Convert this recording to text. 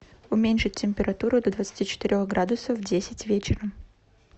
уменьшить температуру до двадцати четырех градусов в десять вечера